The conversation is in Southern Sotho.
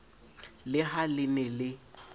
le ha le ne le